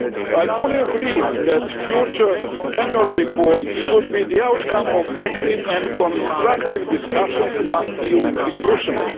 I fully agree that future annual reports should be the outcome of active and constructive discussions among EU institutions.